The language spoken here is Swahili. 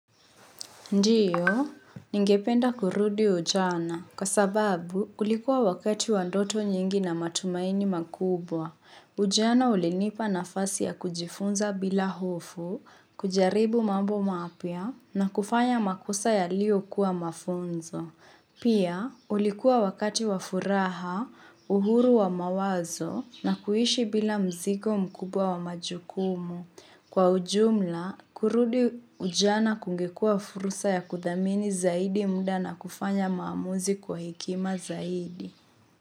Ndiyo, ningependa kurudi ujana, kwa sababu, ulikuwa wakati wa ndoto nyingi na matumaini makubwa. Ujana ulinipa nafasi ya kujifunza bila hofu, kujaribu mambo mapya na kufanya makosa yalio kuwa mafunzo. Pia, ulikuwa wakati wafuraha, uhuru wa mawazo na kuishi bila mzigo mkubwa wa majukumu. Kwa ujumla, kurudi ujana kungekuwa fursa ya kuthamini zaidi muda na kufanya maamuzi kwa hekima zaidi.